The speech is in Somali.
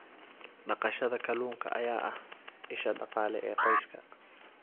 Dhaqashada kalluunka ayaa ah isha dhaqaale ee qoyska.